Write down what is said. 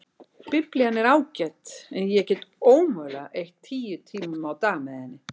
Biblían er ágæt en ég get ómögulega eytt tíu tímum á dag með henni.